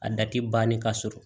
A da ti banni ka sɔrɔ